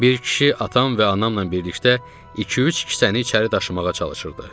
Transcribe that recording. Bir kişi atam və anamla birlikdə iki-üç kisəni içəri daşımağa çalışırdı.